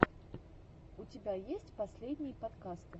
у тебя есть последние подкасты